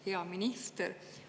Hea minister!